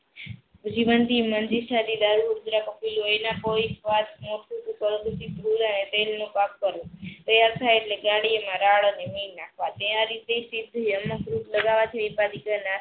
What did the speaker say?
જીવનથી કપિલ લોહીના પોઈ તેલ નો પાઠ કરવો. તૈયાર થઈ એટલે ગાડી માં રાડ